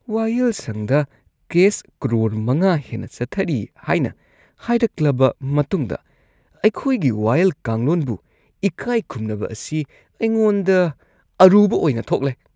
ꯋꯥꯌꯦꯜꯁꯪꯗ ꯀꯦꯁ ꯀꯔꯣꯔ ꯵ ꯍꯦꯟꯅ ꯆꯠꯊꯔꯤ ꯍꯥꯏꯅ ꯍꯥꯏꯔꯛꯂꯕ ꯃꯇꯨꯡꯗ ꯑꯩꯈꯣꯏꯒꯤ ꯋꯥꯌꯦꯜ ꯀꯥꯡꯂꯣꯟꯕꯨ ꯏꯀꯥꯏꯈꯨꯝꯅꯕ ꯑꯁꯤ ꯑꯩꯉꯣꯟꯗ ꯑꯔꯨꯕ ꯑꯣꯏꯅ ꯊꯣꯛꯂꯦ꯫